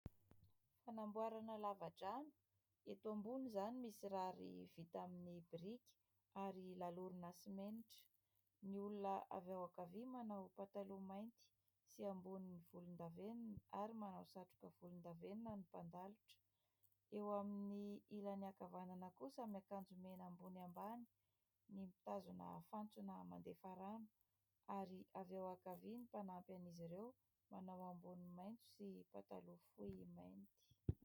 Fanamboarana lava-drano eto ambony izany misy rary vita amin'ny biriky ary lalorina simenitra. Ny olona avy ao ankavia manao pataloha mainty sy amboniny volondavenona ary manao satroka volondavenona ny mpandalotra, eo amin'ny ilany ankavanana kosa miakanjo mena ambony ambany ny mitazona fantsona mandefa rano ary avy ao ankavia ny mpanampy an'izy ireo manao ambony maitso sy pataloha fohy mainty.